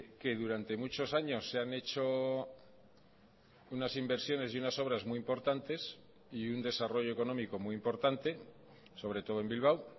que durante muchos años se han hecho unas inversiones y unas obras muy importantes y un desarrollo económico muy importante sobre todo en bilbao